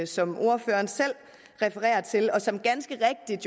som ordføreren selv refererer til og som ganske rigtigt